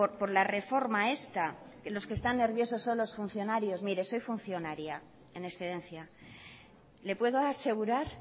por la reforma esta que los que están nerviosos son los funcionarios mire soy funcionaria en excedencia le puedo asegurar